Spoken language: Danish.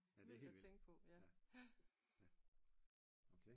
Ja det er helt vildt ja ja okay